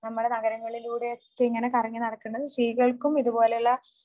നമ്മുടെ നഗരങ്ങളിലൂടെ ഒക്കെ ഇങ്ങനെ കറങ്ങി നടക്കണത് സ്ത്രീകൾക്കും ഇതുപോലെയുള്ള